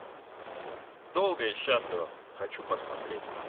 долго и счастливо хочу посмотреть